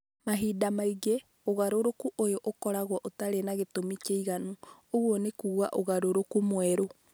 Mahinda maingĩ, ũgarũrũku ũyũ ũkoragwo ũtarĩ na gĩtũmi kĩiganu (ũguo nĩ kuuga ũgarũrũku mwerũ)